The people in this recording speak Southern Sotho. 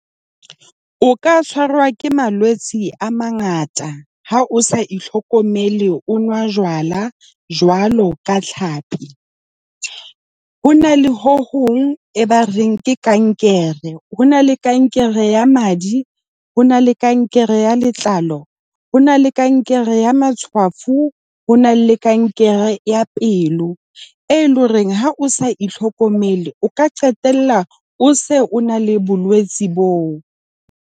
O ka tshwarwa ke malwetsi a mangata ha o sa itlhokomele, o nwa jwala jwalo ka tlhapi. Ho na le ho hong e ba reng ke kankere. Ho na le kankere ya madi. Ho na le kankere ya letlalo. Ho na le kankere ya matshwafo. Ho na le kankere ya pelo. E leng hore ha o sa itlhokomele, o ka qetella o se o na le bolwetsi boo.